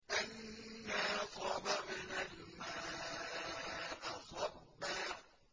أَنَّا صَبَبْنَا الْمَاءَ صَبًّا